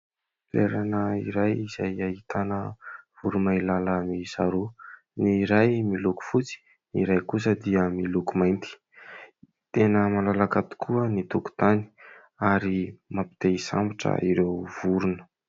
Toerana iray izay ahitana voromailala miisa roa : ny iray miloko fotsy, ny iray kosa dia miloko mainty. Tena malalaka tokoa ny tokotany ary mampite-hisambotra ireo vorona.